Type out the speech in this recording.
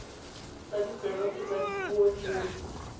tsa ditsebe kgotsa dikumo dingwe